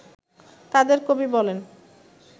তাঁদের কবি বলেন